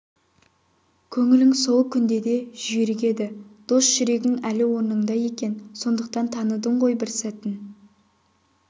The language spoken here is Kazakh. көңілің сол күнде де жүйрік еді дос жүрегің әлі орнында екен сондықтан таныдың ғой бір сәтін